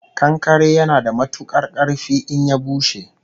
Kankare yana da matukar karfi in ya bushe